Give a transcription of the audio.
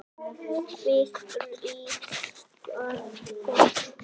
Veðrið var gott.